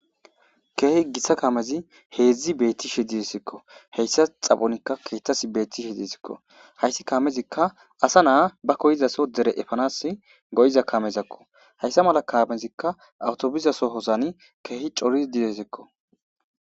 keehi gissa kaamezi heedzdzi beettishe didesikko heyssa xaphonikka keettas beettishe diesikko hayssi kaamezikka asa na'a ba koyizaso dere efanas go'iza kamezakko hayssa mala kaamezikka awtobizasohosani keehi cori didesikko